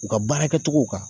U ka baara kɛcogo kan